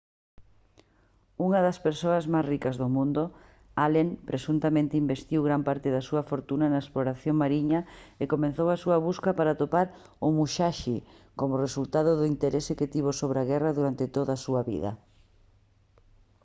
unha das persoas máis ricas do mundo allen presuntamente investiu gran parte da súa fortuna na exploración mariña e comezou a súa busca para atopar o musashi como resultado do interese que tivo sobre a guerra durante toda a súa vida